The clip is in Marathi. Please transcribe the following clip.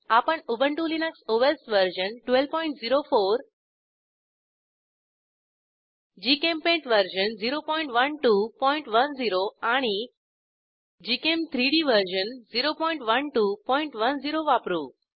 आपण Ubuntu Linux OS version 1204 GChemPaint version 01210 आणि gchem3डी वर्जन 01210 वापरू